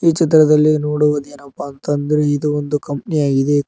ಈ ಚಿತ್ರದಲ್ಲಿ ನೋಡುವುದೇನಪ್ಪಾ ಅಂತ ಅಂದ್ರೆ ಇದು ಒಂದು ಕಂಪನಿ ಆಗಿದೆ.